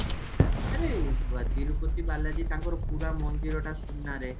ହଁ ଆରେ ତିରୁପତି ବାଲାଜୀ ତାଙ୍କର ପୁରା ମନ୍ଦିରଟା ସୁନରେ